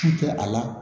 Su tɛ a la